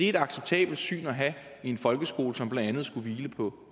et acceptabelt syn at have i en folkeskole som blandt andet skulle hvile på